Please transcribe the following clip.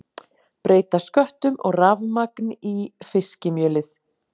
Breyta sköttum og rafmagn í fiskimjölið